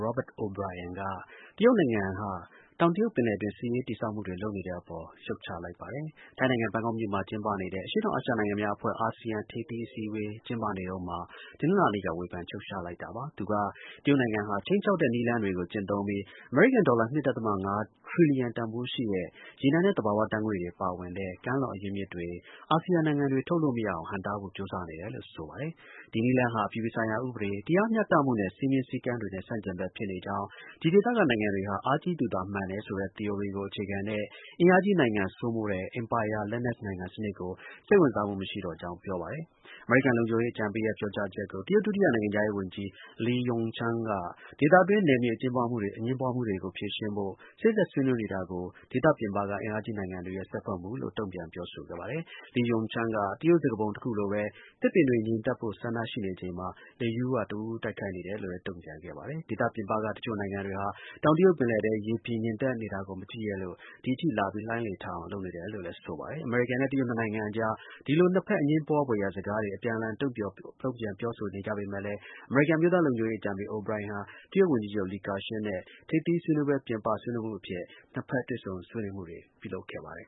Robert O’Brien က တရုတ်နိုင်ငံက တောင်တရုတ်ပင်လယ်အတွင်း စစ်ရေး တည်ဆောင်မှုတွေလုပ်တဲ့ကိစ္စပေါ် ဝေဖန် ရှုတ်ချလိုက်ပါတယ်။ ထိုင်းနိုင်ငံ၊ ဘန်ကောက်မြို့မှာ ကျင်းပနေတဲ့ အရှေ့တောင်အာရှ နိုင်ငံများ အဖွဲ့ (အာဆီယံ) ထိပ်သီး အစည်းအဝေး ကျင်းပနေတုန်းမှာ တနင်္လာနေ့က ဝေဖန်လိုက်တာပါ။ သူက တရုတ်နိုင်ငံဟာ ခြိမ်းခြောက်တဲ့ နည်းလမ်းကို ကျင့်သုံးပြီး အမေရိကန်ဒေါ်လာ ၂.၅ ထရီလီယံ တန်ဖိုးရှိတဲ့ ရေနံနဲ့ သဘာ၀ ဓါတ်ငွေ့တွေ ပါဝင်တဲ့ ကမ်းလွန် အရင်းအမြစ်တွေ အာဆီယံနိုင်ငံတွေ ထုတ်လုပ်လို့ မရအောင် ဟန့်တားဖို့ ကြိုးစားနေတယ်လို့ ဆိုပါတယ်။ ဒီနည်းလမ်းဟာ အပြည်ပြည်ဆိုင်ရာ ဥပဒေ၊ တရားမျှတမှုနဲ့ စည်းမျဉ်းစည်းကမ်းတွေနဲ့ ဆန့်ကျင်ဘက် ဖြစ်နေကြောင်း၊ ဒီ ဒေသကနိုင်ငံတွေဟာ အားကြီးသူသာ မှန်တယ်ဆိုတဲ့ သီအိုရီကို အခြေခံတဲ့ အင်အားကြီးနိုင်ငံ စိုးမိုးတဲ့ အင်ပါယာ လက်နက်နိုင်ငံစနစ်ကို စိတ်ဝင်စားမှု မရှိတော့ကြောင်း ပြောပါတယ်။ အမေရိကန် လုံခြုံရေး အကြံပေးရဲ့ ပြောကြားချက်ကို တရုတ် ဒုတိယနိုင်ငံခြားရေးဝန်ကြီး Le Yucheng က ဒေသတွင်း နယ်မြေ အငြင်းပွားမှုကို ဖြေရှင်းဖို့ စေ့စပ်ဆွေးနွေးနေတာကို ဒေသ ပြင်ပက အင်အားကြီးနိုင်ငံတွေရဲ့ စွက်ဖက်မှုလို့ တုန့်ပြန်ပြောဆိုခဲ့ပါတယ်။ Le Yucheng က တရုတ် စကားပုံတစ်ခုလိုပဲ “သစ်ပင်တွေ ငြိမ်သက်ဖို့ ဆန္ဒရှိနေချိန်မှာ လေကတစ်ဝူးဝူး တိုက်နေတယ်” လို့လည်း တုံ့ပြန် ခဲ့ပါတယ်။ ဒေသပြင်ပက တစ်ချို့နိုင်ငံတွေဟာ တောင်တရုတ်ပင်လယ်ထဲ ရေပြင်ငြိမ်သက်နေတာကို မကြည့်ရက်လို့ ဒီအထိလာပြီး လှိုင်းလေထအောင်လုပ်နေတယ်လည်းဆိုပါတယ်။ အမေရိကန်နဲ့ တရုတ်နှစ်နိုင်ငံအကြား ဒီလို နှစ်ဘက် အငြင်းပွားဖွယ်ရာ စကားတွေ အပြန်အလှန် တုံ့ပြန်ပြောဆိုနေကြပေမဲ့လည်း အမေရိကန် အမျိုးသား လုံခြုံရေး အကြံပေး O’Brien ဟာ တရုတ် ဝန်ကြီးချုပ် Li Keqian နဲ့ ထိပ်သီး ဆွေးနွေးပွဲ ပြင်ပဆွေးနွေးမှုအဖြစ် နှစ်ဖက်တွေ့ဆုံဆွေးနွေးမှုတွေ လုပ်ခဲ့ပါတယ်